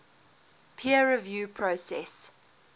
peer review process